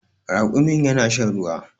Raƙumin yana shan ruwa